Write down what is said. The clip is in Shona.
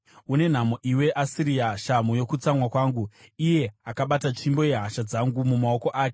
“Une nhamo iwe Asiria, shamhu yokutsamwa kwangu, iye akabata tsvimbo yehasha dzangu mumaoko ake!